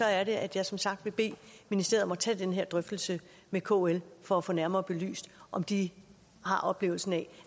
er det at jeg som sagt vil bede ministeriet om at tage den her drøftelse med kl for at få nærmere belyst om de har oplevelsen af